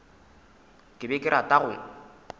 ke be ke rata go